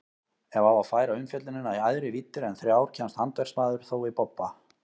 Ef á að færa umfjöllunina í æðri víddir en þrjár kemst handverksmaðurinn þó í bobba.